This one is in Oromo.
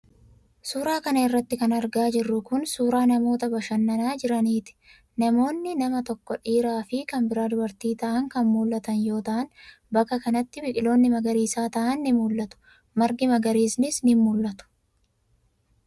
Suura kana irratti kan argaa jirru kun, suura namoota bashannanaa jiraniiti. Namoonni nama tokko dhiira fi kan biraa dubartii ta'an kan mul'atan yoo ta'an, bakka kanatti biqiloonni magariisa ta'an ni mul'atu. Margi magariisnis ni mul'atu.